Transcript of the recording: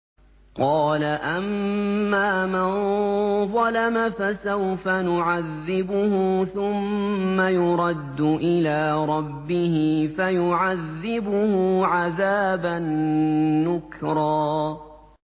قَالَ أَمَّا مَن ظَلَمَ فَسَوْفَ نُعَذِّبُهُ ثُمَّ يُرَدُّ إِلَىٰ رَبِّهِ فَيُعَذِّبُهُ عَذَابًا نُّكْرًا